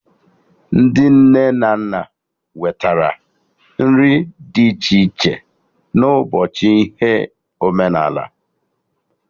Ndị nne na nna wetara nri dị iche ịchị na ụbọchị ihe omenala